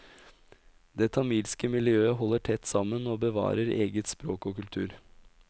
Det tamilske miljøet holder tett sammen og bevarer eget språk og kultur.